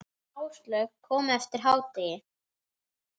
Áslaug kom eftir hádegi.